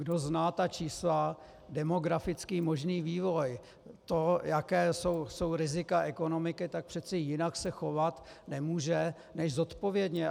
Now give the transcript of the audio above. Kdo zná ta čísla, demografický možný vývoj, to, jaká jsou rizika ekonomiky, tak přece jinak se chovat nemůže než zodpovědně.